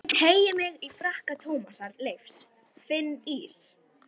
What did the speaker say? Ég teygi mig í frakka Tómasar Leifs, finn ís